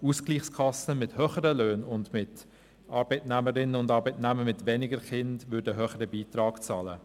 Ausgleichskassen mit höheren Löhnen und mit Arbeitnehmerinnen und Arbeitnehmern mit weniger Kindern würden einen höheren Beitrag bezahlen.